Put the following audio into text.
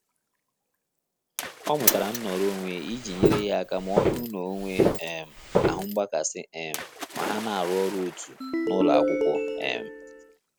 Ọ mụtara nnọrọ onwe iji nyere ya aka ma ọ bụrụ na onwe um ahụ mgbakasị um ma ha na arụ ọrụ otu na ụlọakwụkwọ um